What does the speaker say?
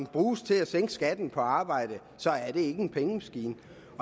bruges til at sænke skatten på arbejde er det ikke en pengemaskine